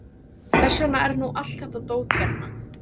Þess vegna er nú allt þetta dót hérna.